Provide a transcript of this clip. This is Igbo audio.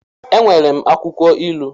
E nwere m akwụkwọ ilu